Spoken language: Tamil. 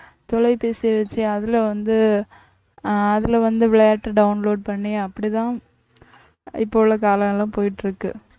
தொலைபேசியை வச்சு அதிலே வந்து அதுல வந்து விளையாட்டு download பண்ணி அப்படித்தான் இப்போ உள்ள காலம் எல்லாம் போயிட்டிருக்கு